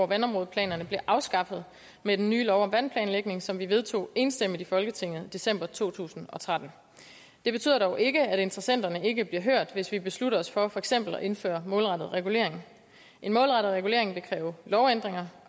vandområdeplanerne blev afskaffet med den nye lov om vandplanlægning som vi vedtog enstemmigt i folketinget i december to tusind og tretten det betyder dog ikke at interessenterne ikke bliver hørt hvis vi beslutter os for for eksempel at indføre målrettet regulering en målrettet regulering vil kræve lovændringer